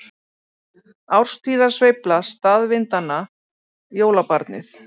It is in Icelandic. Árstíðasveifla staðvindanna- jólabarnið